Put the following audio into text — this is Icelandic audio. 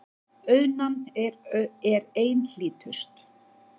Auðnan er einhlítust.